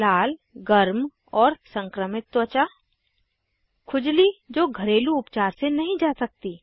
लाल गर्म और संक्रमित त्वचा खुजली जो घरेलू उपचार से नहीं जा सकती